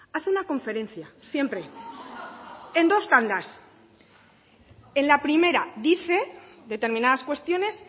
hace una conferencia siempre en dos tandas en la primera dice determinadas cuestiones